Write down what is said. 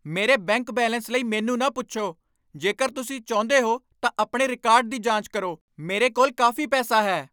ਮੇਰੇ bank balance ਲਈ ਮੈਨੂੰ ਨਾ ਪੁੱਛੋ। ਜੇਕਰ ਤੁਸੀਂ ਚਾਹੁੰਦੇ ਹੋ ਤਾਂ ਆਪਣੇ ਰਿਕਾਰਡ ਦੀ ਜਾਂਚ ਕਰੋ। ਮੇਰੇ ਕੋਲ ਕਾਫ਼ੀ ਪੈਸਾ ਹੈ।